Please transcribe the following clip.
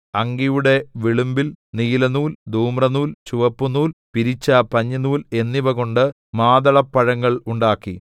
അങ്കിയുടെ വിളുമ്പിൽ നീലനൂൽ ധൂമ്രനൂൽ ചുവപ്പുനൂൽ പിരിച്ച പഞ്ഞിനൂൽ എന്നിവകൊണ്ട് മാതളപ്പഴങ്ങൾ ഉണ്ടാക്കി